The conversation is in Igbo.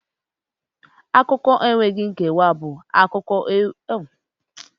Akụkọ enweghị nkewa bụ akụkọ nwere akụkọ dị iche iche na ụdị ịkọ akụkọ.